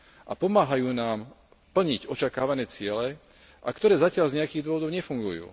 a pomáhajú nám plniť očakávané ciele a ktoré zatiaľ z nejakých dôvodov nefungujú.